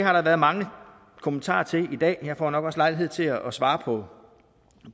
har der været mange kommentarer til i dag jeg får nok også lejlighed til at svare på